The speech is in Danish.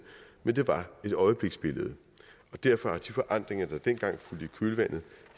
men det var et øjebliksbillede derfor har de forandringer der dengang fulgte i kølvandet